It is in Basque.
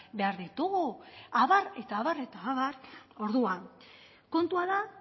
behar ditugu abar eta abar eta abar orduan kontua da